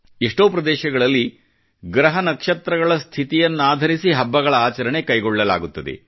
ಎಷ್ಟೋ ಪ್ರದೇಶಗಳಲ್ಲಿ ಗ್ರಹ ನಕ್ಷತ್ರಗಳ ಸ್ಥಿತಿಯನ್ನಾಧರಿಸಿ ಹಬ್ಬಗಳ ಆಚರಣೆ ಕೈಗೊಳ್ಳಲಾಗುತ್ತದೆ